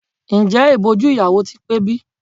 Ǹjẹ́ ìbòjú ìyàwó ti pé bí?